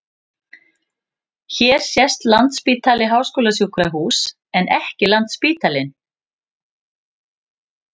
Hér sést Landspítali- háskólasjúkrahús en ekki Landsspítalinn.